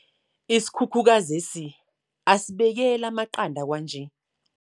Isikhukhukazi lesi asisabekeli amaqanda kwanje.